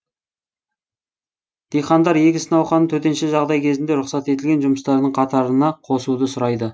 диқандар егіс науқанын төтенше жағдай кезінде рұқсат етілген жұмыстардың қатарына қосуды сұрайды